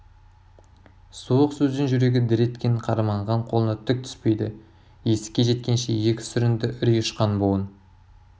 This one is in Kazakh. суық сөзден жүрегі дір еткен қарманған қолына түк түспейді есікке жеткенше екі сүрінді үрей ұшқан буын